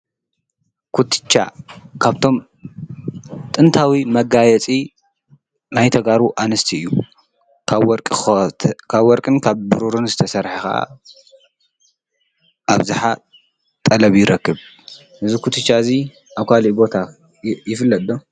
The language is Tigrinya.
ኩትቻ ካብቶም ጥንታዊ መጋየፂ ናይ ተጋሩ ኣንስቲ እዩ፡፡ ካብ ወርቅን ካብ ብሩርን ዝተሰርሓ ብኣብዝሓ ጠለብ ይረክብ:: እዚ ኩትቻ ኣብ ካሊእ ቦታ ይፍለጥ ዶ?